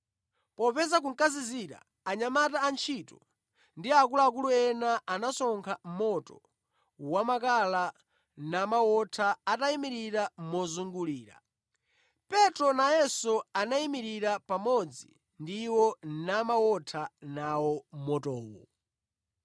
Popeza kunkazizira, anyamata antchito ndi akuluakulu ena anasonkha moto wamakala namawotha atayimirira mozungulira. Petro nayenso anayimirira pamodzi ndi iwo namawotha nawo motowo.